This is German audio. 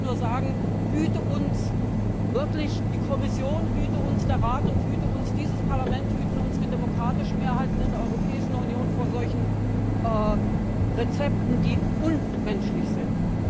Da kann ich nur sagen Hüte uns die Kommission, hüte uns der Rat und hüte uns dieses Parlament, hüten uns die demokratischen Mehrheiten in der Europäischen Union vor solchen Rezepten, die unmenschlich sind!